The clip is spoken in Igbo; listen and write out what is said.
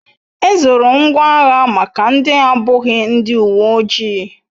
Ezoro ngwa agha maka ndi abughi ndi uwe oji